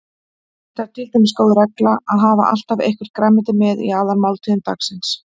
Það er til dæmis góð regla að hafa alltaf eitthvert grænmeti með í aðalmáltíðum dagsins.